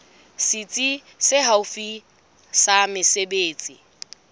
setsi se haufi sa mesebetsi